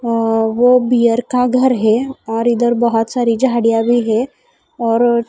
अ वो बीयर का घर है और इधर बहोत सारी झाड़ियां भी है और--